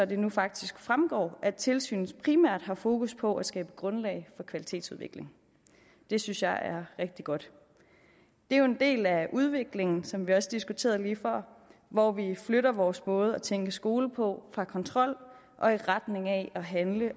det nu faktisk fremgår at tilsynet primært har fokus på at skabe grundlag for kvalitetsudvikling det synes jeg er rigtig godt det er jo en del af udviklingen som vi også diskuterede lige før hvor vi flytter vores måde at tænke skole på fra kontrol og i retning af at handle